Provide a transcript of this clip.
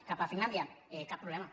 cap a finlàndia cap problema